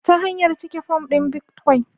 Ta hanyar cike fom ɗin bitcoin